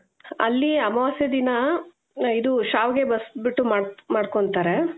ಅಲ್ಲಿ ಅಮಾವಾಸ್ಯೆ ದಿನ ಇದು ಶ್ಯಾವಿಗೆ ಬಸ್ದು ಬಿಟ್ಟು ಮಾಡ್ ಮಾಡ್ಕೊಂತಾರೆ .